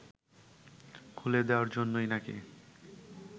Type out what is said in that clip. খুলে দেওয়ার জন্যই নাকি